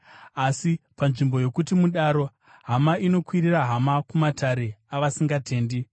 Asi panzvimbo yokuti mudaro, hama inokwirira hama kumatare avasingatendi!